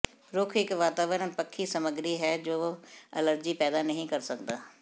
ਰੁੱਖ ਇੱਕ ਵਾਤਾਵਰਣ ਪੱਖੀ ਸਮੱਗਰੀ ਹੈ ਜੋ ਐਲਰਜੀ ਪੈਦਾ ਨਹੀਂ ਕਰ ਸਕਦਾ